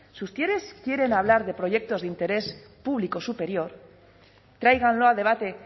si ustedes quieren hablar de proyectos de interés público superior tráiganlo a debate